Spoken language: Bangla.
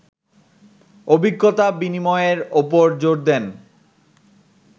অভিজ্ঞতা বিনিময়ের ওপর জোর দেন